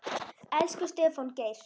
Elsku Stefán Geir.